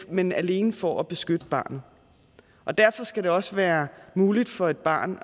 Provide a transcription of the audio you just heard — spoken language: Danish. men alene for at beskytte barnet og derfor skal det også være muligt for et barn